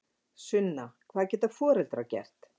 Sunna: Hvað geta foreldrar gert?